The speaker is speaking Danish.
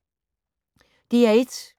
DR1